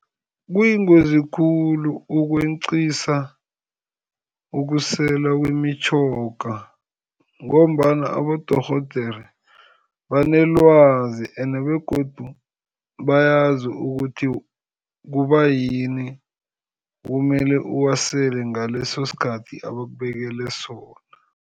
Kuyingozi khulu ukweqisa ukuselwa kwemitjhoga, ngombana abodorhodere banelwazi and begodu bayazi ukuthi kubayini kumele uwasele ngaleso sikhathi abakubekele sona.